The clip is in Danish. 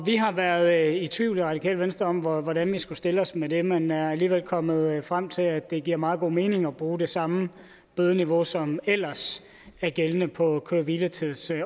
har været i tvivl i det radikale venstre om hvordan vi skulle stille os med det men vi er alligevel kommet frem til at det giver meget god mening at bruge det samme bødeniveau som ellers er gældende på køre hvile tids